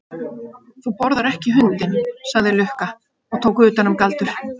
Þú borðar ekki hundinn, sagði Lukka og tók utan um Galdur.